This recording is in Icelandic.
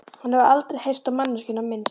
Hafði aldrei heyrt á manneskjuna minnst.